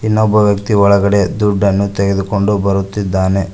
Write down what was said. ಇನ್ನೊಬ್ಬ ವ್ಯಕ್ತಿ ಒಳಗಡೆ ದುಡ್ಡನ್ನು ತೆಗೆದುಕೊಂಡು ಬರುತ್ತಿದ್ದಾನೆ.